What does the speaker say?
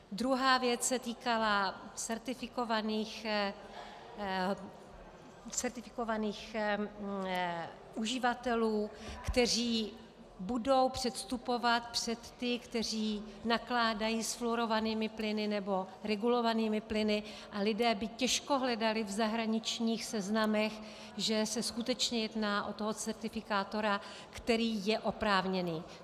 Druhá věc se týkala certifikovaných uživatelů, kteří budou předstupovat před ty, kteří nakládají s fluorovanými plyny nebo regulovanými plyny, a lidé by těžko hledali v zahraničních seznamech, že se skutečně jedná o toho certifikátora, který je oprávněný.